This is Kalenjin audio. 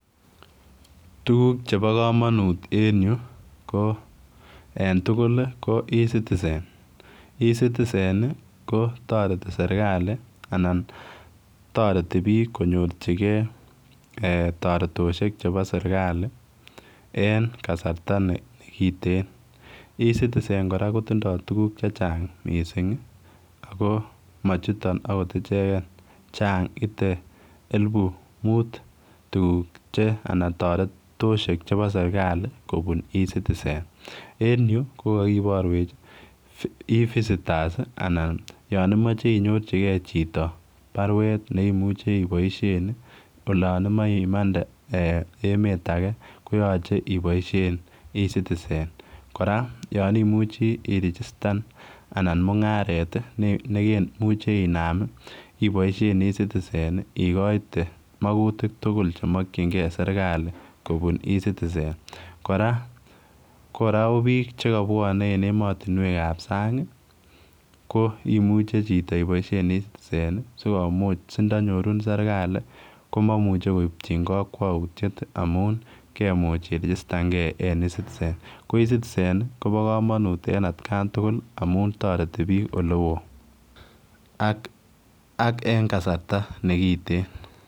Tuguk chebo komonut en yuu ko en tugul ih ko eCitizen, eCitizen ih ko toreti serkali anan toreti biik konyorchigee toretosiek chebo serkali en kasarta nekiten eCitizen kora kotindoo tuguk chechang missing ih ako machuton akot icheken chang ite elipu mut tuguk che anan toretosiek chebo serkali kobun eCitizen. En yuu kokokiborwech eVisitors anan yan imoche inyorchigee chito baruet neimuche iboisien ih olan imoe imande emet age koyoche iboisien eCitizen. Kora imuchii irigistan anan mung'aret ih nekemoche inam ih iboisien eCitizen ih ikoite mokutik tugul chemokyingee serkali kobun eCitizen. Kora kora kobiik chekobwone en emotinwek ab sang ih koimuche chito iboisien eCitizen ih sikomuch sindonyorun serkali komomuche koipchin kokwoutiet ih amun kemuch irigistan gee en eCitizen. Ko eCitizen ih kobo komonut en atkan tugul amun toreti biik olewoo ak ak en kasarta nekiten